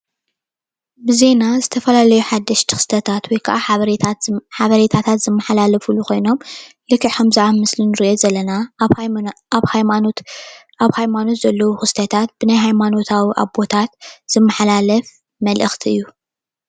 ብዜና ዝተፈላለዩ ሓደሽቲ ክስተታት ወይ ከኣ ሓበሬታታት ዝመሓለላፉሉ ኮይኖም ልክእ ከምዚ ኣብ ምስሊ እንሪኦ ዘለና ኣብ ሃይማኖት ዘለዉ ክስታት ብናይ ሃይማኖታዊ ኣቦታት ዝመሓላለፍ ምልእክቲ እዩ፡፡